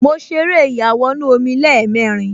Mo ṣeré ìyàwọnù-omi lẹ́ẹ̀mẹrin